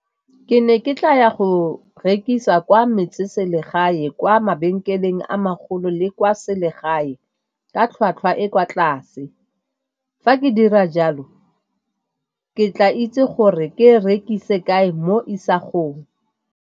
Ke ne ke tla ya go rekisa kwa metseselegae kwa mabenkeleng a magolo le kwa selegae ka tlhwatlhwa e kwa tlase. Fa ke dira jalo ke tla itse gore ke rekise kae mo isagong.